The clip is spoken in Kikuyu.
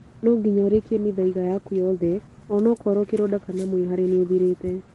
No nginya ũrĩkie mĩthaiga yaku yoothe ona okrwo kĩronda kana mwĩhare nĩ ũthirĩte